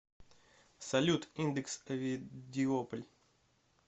салют индекс овидиополь